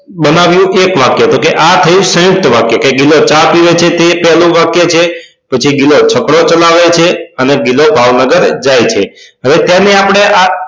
બનાવ્યું એક વાક્ય તો કે આ થયું સયુંકત વાક્ય ગિલો ચા પીવે છે તે પહેલું વાક્ય છે પછી ગિલો છકડો ચલાવે છે અને ગિલો ભાવનગર જાય છે હવે તેને આપડે આ